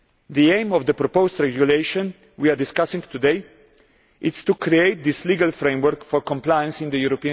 The aim of the proposed regulation we are discussing today is to create this legal framework for compliance in the EU.